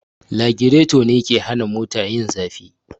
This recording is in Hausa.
Lagireto ne me ke hana mota yin zafi